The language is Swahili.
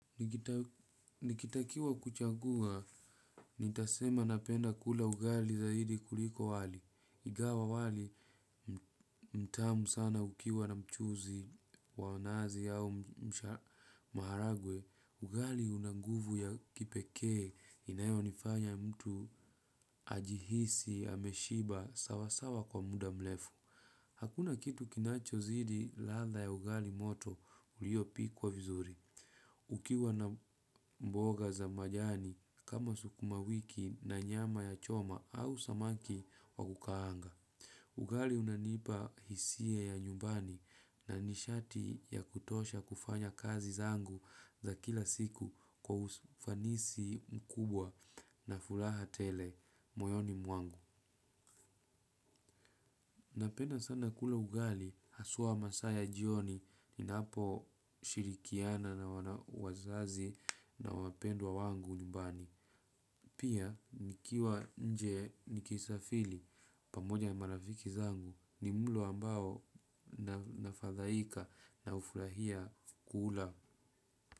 Nikitakiwa kuchagua, nitasema napenda kula ugali zaidi kuliko wali. Ingawa wali ni mtamu sana ukiwa na mchuzi wa nazi au maharagwe ugali una nguvu ya kipekee inayonifanya mtu ajihisi, ameshiba, sawasawa kwa muda mrefu. Hakuna kitu kinachozidi ladha ya ugali moto uliopikwa vizuri. Ukiwa na mboga za majani kama sukumawiki na nyama ya choma ama samaki wa kukaanga ugali unanipa hisia ya nyumbani na nishati ya kutosha kufanya kazi zangu za kila siku kwa ufanisi mkubwa na furaha tele moyoni mwangu. Napenda sana kula ugali, haswa masaa ya jioni, ninaposhirikiana na wazazi na wapendwa wangu nyumbani. Pia, nikiwa nje nikisafiri, pamoja na marafiki zangu, ni mlo ambao nafadhaika na hufurahia kula.